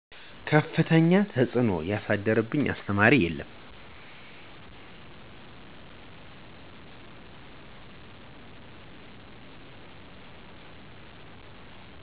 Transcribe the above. ከፍተኛ ተፅዕኖ ያሳደረብኝ አስተማሪ የለም።